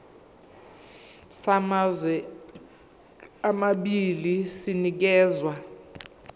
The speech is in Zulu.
samazwe amabili sinikezwa